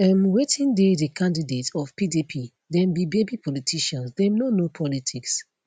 um wetin dey di candidate of pdp dem be baby politicians dem no know politics